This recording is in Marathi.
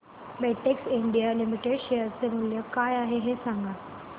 बेटेक्स इंडिया लिमिटेड शेअर चे मूल्य काय आहे हे सांगा